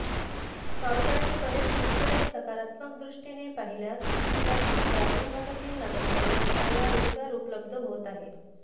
पावसाळी पर्यटनाकडे सकारात्मक दृष्टीने पाहिल्यास यातून ग्रामीण भागातील नागरिकांना चांगला रोजगार उपलब्ध होत आहे